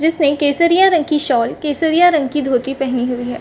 जिस ने केसरिया रंग की शॉल केसरिया रंग की धोती पेहनी हुई हैं।